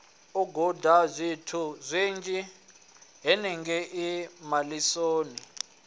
u gudazwithu zwinzhi henengei malisoni